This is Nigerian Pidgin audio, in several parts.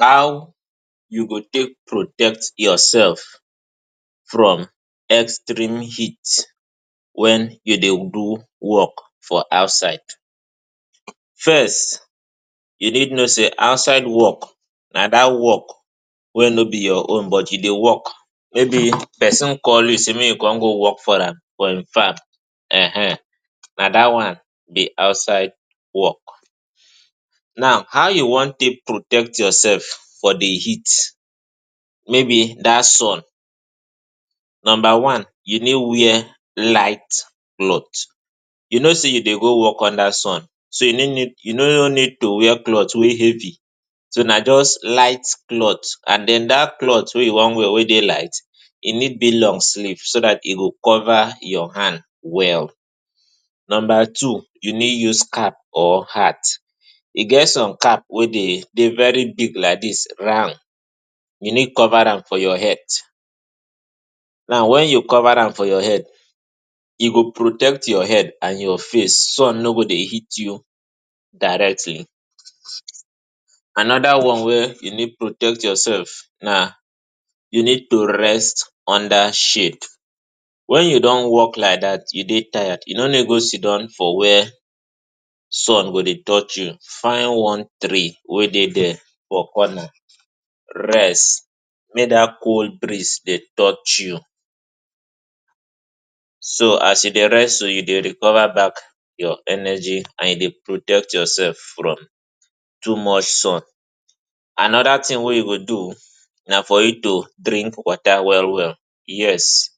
How you go take protect yoursef from extreme heat wen you dey do wok for outside First you need know say outside wok na dat wok wey no be your own but you de wok, maybe pesin call you say make you come go wok for am for im farm ehen na dat one be outside wok Now how you wan take protect yoursef for di heat maybe dat sun Numba one you need wear light cloth you know say you dey go wok understand sun so you no need you no need to wear cloth wey heavy so na just light cloth and den dat cloth wey you wan wear wey dey light e need bill long sleeve so dat e go cover your hand well Number two you need use cap or hat e get some cap wey dey very big like dis round you need cover am for your head now wen you cover am for your head e go protect your head and your face sun no go dey heat you directly Anoda one wey e need protect yoursef na you need to rest under shade wen you don wok like dat you dey tired you no no go siddon for wia sun go dey touch you find one tree wey dey there for corner rest make dat cold breeze dey touch you so as you dey rest so you dey recover back your energy and e dey protect yoursef from too much sun Anoda tin wey you go do na for you to drink water well well yes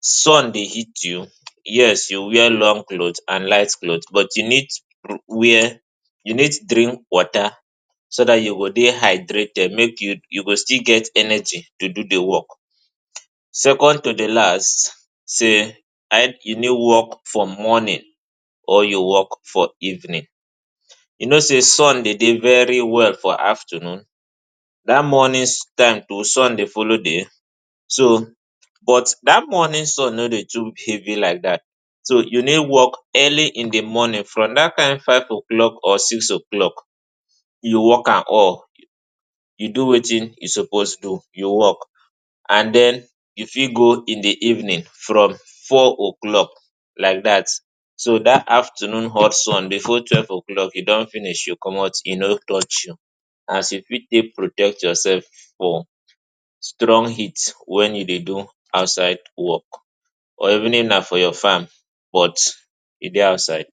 sun dey hit you yes you wear long cloth and light cloth but you need wia you need drink water so dat you go dey hydrated make you you go still get energy to do di wok Second to di last say you need wok from morning or you wok for evening you know say sun dey dey very well for afternoon dat morning time too sun dey follow there so but dat morning sun no dey too heavy like dat so you need wok early in di morning from dat time five o'clock or six o'clock you wok am all you do wetin e suppose do you wok and den you fit go in di evening from four o'clock like dat so dat afternoon hot sun bifor twelve o'clock e don finish you comot you no touch you as e fit take protect yoursef for strong heat wen you dey do outside wok or even na for your farm but e dey outside.